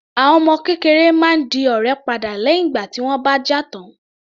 Àwọn ọmọ kékeré máa ń di ọ̀rẹ́ padà lẹ́hìn ìgbà tí wọ́n bá jà tán.